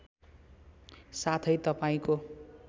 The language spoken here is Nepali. साथै तपाईँको